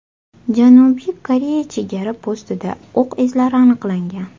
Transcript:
Janubiy Koreya chegara postida o‘q izlari aniqlangan.